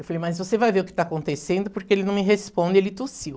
Eu falei, mas você vai ver o que está acontecendo, porque ele não me responde, ele tossiu.